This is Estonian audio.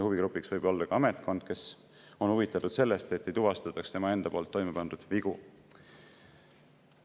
Huvigrupiks võib olla ka ametkond, kes on huvitatud sellest, et ei tuvastataks tema enda toime pandud vigu.